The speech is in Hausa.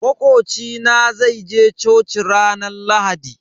Makoci na zai je coci ranar Lahadi.